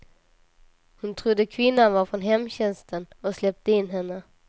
Hon trodde kvinnan var från hemtjänsten och släppte in henne.